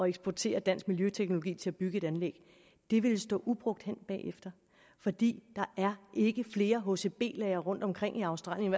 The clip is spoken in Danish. eksportere dansk miljøteknologi til at bygge et anlæg ville stå ubrugt hen bagefter fordi der ikke er flere hcb lagre rundtomkring i australien